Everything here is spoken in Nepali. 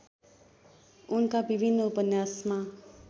उनका विभिन्न उपन्यासमा